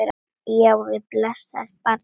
Já, við blessað barnið!